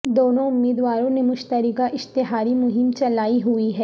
دونوں امیدواروں نے مشترکہ اشتہاری مہم چلائی ہوئی ہے